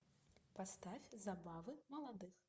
поставь забавы молодых